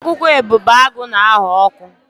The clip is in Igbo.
Akwụkwọ ebubeagụ na-aghọ ọkụ.